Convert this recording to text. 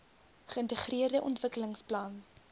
geintegreerde ontwikkelings plan